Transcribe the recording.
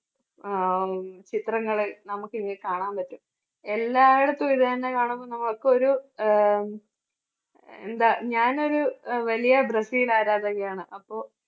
ആഹ് ചിത്രങ്ങള് നമുക്ക് കാണാൻ പറ്റും എല്ലായിടത്തും. ഇതുതന്നെ കാണുമ്പോൾ നമുക്ക് ഒരു ആഹ് എന്താ ഞാൻ ഒരു വലിയ ബ്രസീൽ ആരാധകയാണ് അപ്പോ